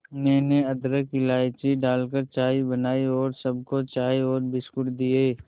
मैंने अदरक इलायची डालकर चाय बनाई और सबको चाय और बिस्कुट दिए